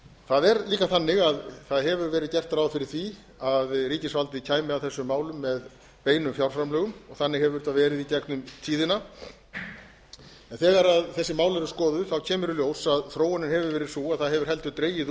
það er líka þannig að það hefur verið gert ráð fyrir því að ríkisvaldið kæmi að þessum málum með beinum fjárframlögum og þannig hefur það verið í gegnum tíðina en þegar þessi mál eru skoðuð kemur í ljós að þróunin hefur verið sú að það hefur heldur dregið